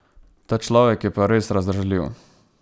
Ta človek je pa res razdražljiv.